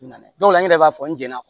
Na an yɛrɛ b'a fɔ n jɛnna